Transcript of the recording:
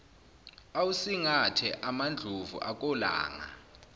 awusingethe amandlovu akolanga